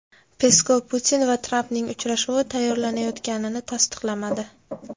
Peskov Putin va Trampning uchrashuvi tayyorlanayotganini tasdiqlamadi.